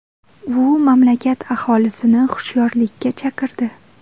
U mamlakat aholisini hushyorlikka chaqirdi.